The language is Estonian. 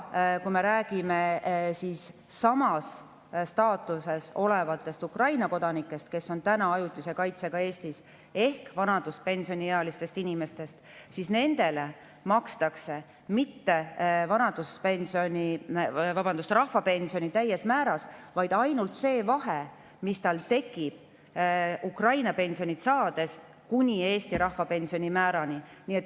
Kui me räägime samas staatuses olevatest Ukraina kodanikest, kes on Eestis ajutise kaitse saajatena, ehk vanaduspensioniealistest inimestest, siis nendele ei maksta rahvapensioni mitte täies määras, vaid makstakse ainult see vahe, mis tekib Ukraina pensioni ja Eesti rahvapensioni määra vahel.